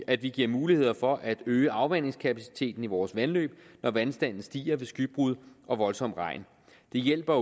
at vi giver mulighed for at øge afvandingskapaciteten i vores vandløb når vandstanden stiger ved skybrud og voldsom regn det hjælper